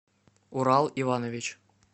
урал иванович